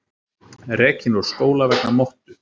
Rekinn úr skóla vegna mottu